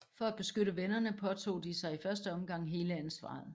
For at beskytte vennerne påtog de sig i første omgang hele ansvaret